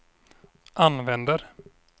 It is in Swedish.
använder